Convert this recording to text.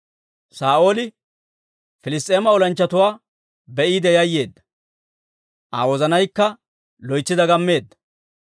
Saa'ooli Piliss's'eema olanchchatuwaa be'iide yayyeedda; Aa wozanaykka loytsi dagammeedda.